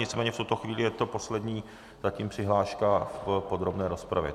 Nicméně v tuto chvíli je to poslední zatím přihláška v podrobné rozpravě.